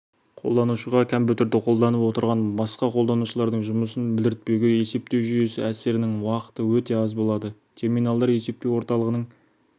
қолданушыға компьютерді қолданып отырған басқа қолданушылардың жұмысын білдіртпеуге есептеу жүйесі әсерінің уақыты өте аз болады терминалдар есептеу орталығының